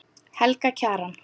Helga Kjaran.